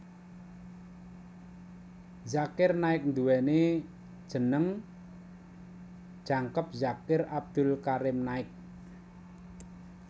Zakir Naik nduwèni jeneng jangkep Zakir Abdul Karim Naik